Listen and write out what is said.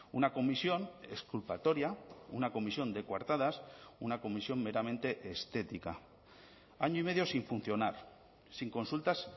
una comisión exculpatoria una comisión de cuartadas una comisión meramente estética año y medio sin funcionar sin consultas